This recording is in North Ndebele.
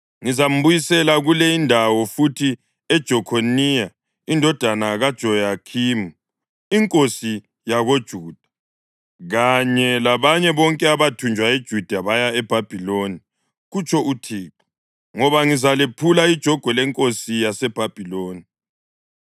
Ngizambuyisela kule indawo futhi uJekhoniya indodana kaJehoyakhimi inkosi yakoJuda kanye labanye bonke abathunjwa koJuda baya eBhabhiloni,’ kutsho uThixo, ‘ngoba ngizalephula ijogwe lenkosi yaseBhabhiloni.’ ”